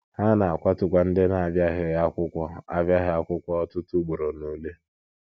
Ha na - akwatukwa ndị na - abịaghị akwụkwọ - abịaghị akwụkwọ ọtụtụ ugboro n’ule. ”